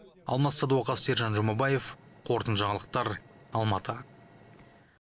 алмас садуақас сержан жұмабаев қорытынды жаңалықтар алматы